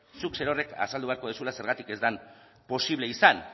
zuk zerorrek azaldu beharko duzuela zergatik ez den posible izan